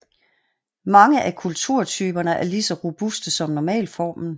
Mange af kulturtyperne er lige så robuste som normalformen